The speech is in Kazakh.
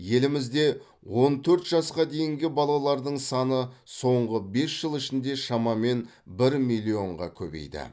елімізде он төрт жасқа дейінгі балалардың саны соңғы бес жыл ішінде шамамен бір миллионға көбейді